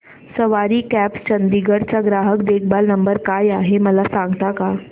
सवारी cabs Chandigarh चा ग्राहक देखभाल नंबर काय आहे मला सांगता का